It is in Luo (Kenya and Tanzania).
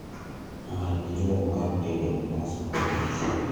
many yo mar tedo mandas mar nas